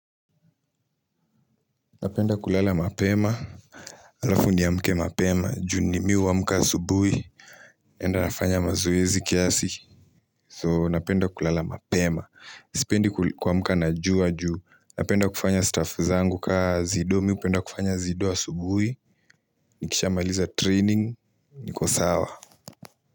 Napenda kulala mapema, alafu niamke mapema, juu ni mimi huamka asubuhi, enda nafanya mazoezi kiasi, so napenda kulala mapema, sipendi kuamka na juu wa juu, napenda kufanya stuff zangu kaa zido, mipenda kufanya zido wa asubuhi, nikisha mailiza training, nikosawa.